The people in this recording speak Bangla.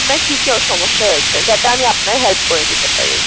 আপনার কি কি সমস্যা হয়েছে, যাতে আমি আপনার help করে দিতে পারি?